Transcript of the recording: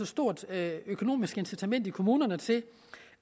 stort økonomisk incitament i kommunerne til